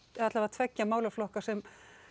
tveggja málaflokka sem